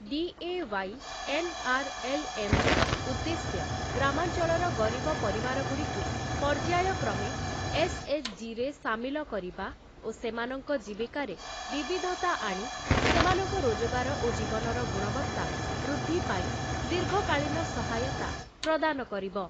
DAY. ଏନ୍‌.ଆର୍‌.ଏଲ୍‌.ଏମ୍‌.ର ଉଦ୍ଦେଶ୍ୟ ଗ୍ରାମାଞ୍ଚଳର ଗରିବ ପରିବାରଗୁଡ଼ିକୁ ପର୍ଯ୍ୟାୟକ୍ରମେ ଏସ୍‌.ଏଚ୍‌.ଜି.ରେ ସାମିଲ କରିବା ଓ ସେମାନଙ୍କ ଜୀବିକାରେ ବିବିଧତା ଆଣି ସେମାନଙ୍କ ରୋଜଗାର ଓ ଜୀବନର ଗୁଣବତ୍ତା ବୃଦ୍ଧି ପାଇଁ ଦୀର୍ଘକାଳୀନ ସହାୟତା ପ୍ରଦାନ କରିବ ।